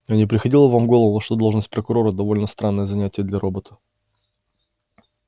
а не приходило вам в голову что должность прокурора довольно странное занятие для робота